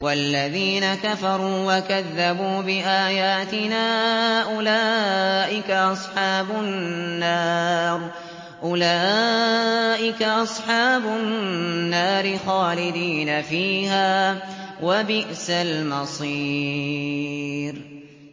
وَالَّذِينَ كَفَرُوا وَكَذَّبُوا بِآيَاتِنَا أُولَٰئِكَ أَصْحَابُ النَّارِ خَالِدِينَ فِيهَا ۖ وَبِئْسَ الْمَصِيرُ